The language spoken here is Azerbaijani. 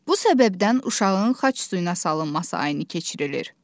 Bu səbəbdən uşağın xaç suyuna salınması ayini keçirilir.